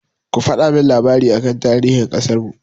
Ku faɗa min labari aka tarihin ƙasarmu!